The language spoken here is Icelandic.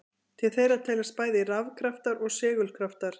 Til þeirra teljast bæði rafkraftar og segulkraftar.